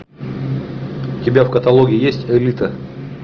у тебя в каталоге есть элита